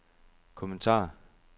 kommentar